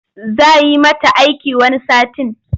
Za yi mata aiki wani satin.